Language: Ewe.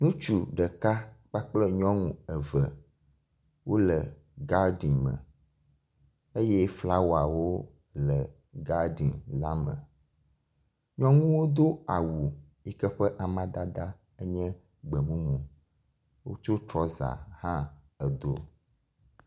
Ŋutsu ɖeka kpakple nyɔnu eve wo le gaden me eye flawawo le gaden la me. Nyɔnuwo do awu yike ƒe amadada enye gbemumu wotsɔ trɔza hã do.